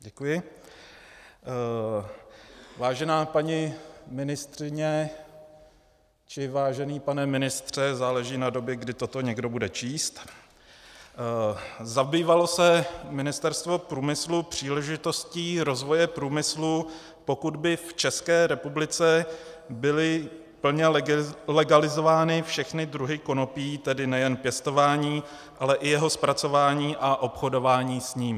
Vážená paní ministryně - či vážený pane ministře, záleží na době, kdy toto někdo bude číst - zabývalo se Ministerstvo průmyslu příležitostí rozvoje průmyslu, pokud by v České republice byly plně legalizovány všechny druhy konopí, tedy nejen pěstování, ale i jeho zpracování a obchodování s ním?